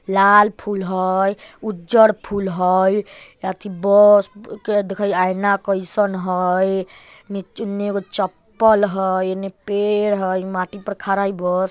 लाल फूल हई उज्जर फूल हई अथी बस के देखि आईना कैसन हई नीचे-उने एगो चप्पल हई इने पेड़ हई इ माटी पर खड़ा इ बस ।